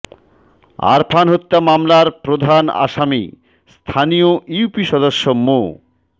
আরফান হত্যা মামলার প্রধান আসামি স্থানীয় ইউপি সদস্য মো